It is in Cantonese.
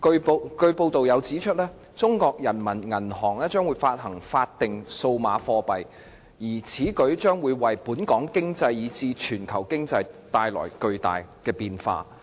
報道又指出，中國人民銀行將會發行法定數碼貨幣，而此舉將會為本港經濟以至全球經濟帶來巨大的變化。